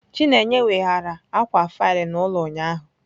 Chineye weghaara akwa faịlụ n'ụlọ ụnyahụ